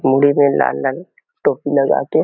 मुड़ी में लाल-लाल टोपी लगा के--